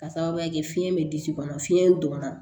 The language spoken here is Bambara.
Ka sababuya kɛ fiɲɛ bɛ disi kɔnɔ fiɲɛ in donna